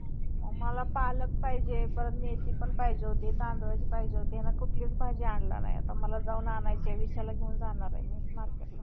मला पालक पाहिजे. परत मेथी पण पाहिजे होती. तांदुळाची पाहिजे होती. यानं कुठलीच भाजी आणला नाही. आता मला जाऊन आणायचीय. विशालला घेऊन जाणार आहे मी marketला.